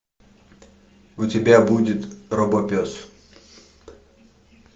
у тебя будет робопес